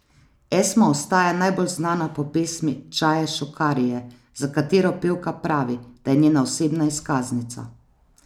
Esma ostaja najbolj znana po pesmi Čaje šukarije, za katero pevka pravi, da je njena osebna izkaznica.